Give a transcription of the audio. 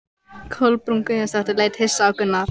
Kolbrún Guðjónsdóttir leit hissa á Gunnar.